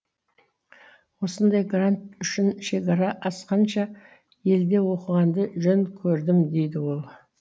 осындай грант үшін шекара асқанша елде оқығанды жөн көрдім дейді ол